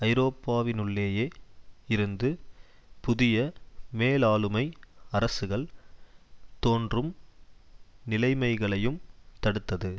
ஐரோப்பாவினுள்ளேயே இருந்து புதிய மேலாளுமை அரசுகள் தோன்றும் நிலைமைகளையும் தடுத்தது